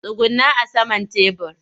Tsugunna a saman tebur!